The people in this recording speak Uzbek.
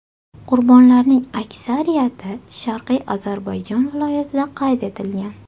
Qurbonlarning aksariyati Sharqiy Ozarbayjon viloyatida qayd etilgan.